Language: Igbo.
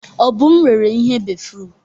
Obum rere ihe béfrụm.